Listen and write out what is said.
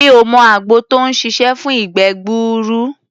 Mi ò mọ àgbo tó ń ṣiṣé fún ìgbẹ́ gbuuru.